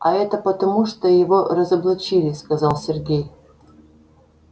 а это потому что его разоблачили сказал сергей